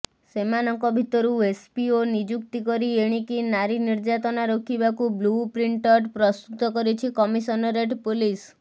ସେମାନଙ୍କ ଭିତରୁ ଏସପିଓ ନିଯୁକ୍ତି କରି ଏଣିକି ନାରୀ ନିର୍ୟାତନା ରୋକିବାକୁ ବ୍ଲୁପ୍ରିଣଅଟ ପ୍ରସ୍ତୁତ କରିଛି କମିଶନରେଟ ପୋଲିସ